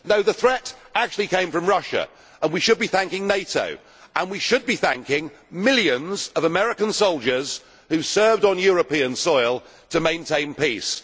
No, the threat actually came from Russia, and we should be thanking NATO and millions of American soldiers who served on European soil to maintain peace.